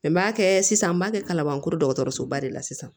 N b'a kɛ sisan n b'a kɛ kalabankorosoba de la sisan